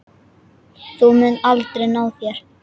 Þú munt aldrei ná þér.